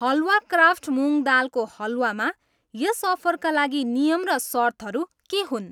हलवा craft मुँग दालको हलवामा यस अफरका लागि नियम र सर्तहरू के हुन्?